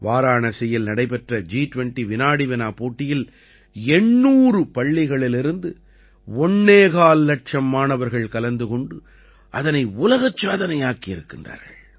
வாராணசியில் நடைபெற்ற ஜி20 வினாடிவினா போட்டியில் 800 பள்ளிகளிலிருந்து ஒண்ணே கால் இலட்சம் மாணவர்கள் கலந்து கொண்டு அதனை உலகச் சாதனையாக்கி இருக்கிறார்கள்